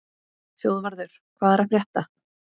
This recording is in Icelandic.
Þjóðvarður, hvað er að frétta?